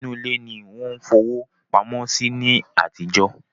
Inú ilé ni wọ́n fowó pamọ́ sí ní àtijọ́